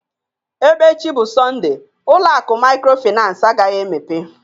Ebe echi bụ Sọnde, ụlọ akụ maykrofinans agaghị emepe